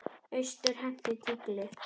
Austur henti tígli.